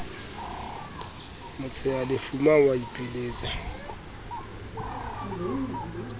motshehafuma o a ipiletsa b